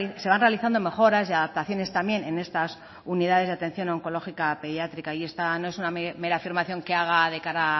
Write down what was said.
se van realizando mejoras y adaptaciones también en estas unidades de atención oncológica pediátrica y esta no es una mera afirmación que haga de cara a